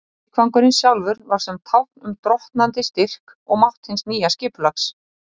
Leikvangurinn sjálfur var sem tákn um drottnandi styrk og mátt hins nýja skipulags.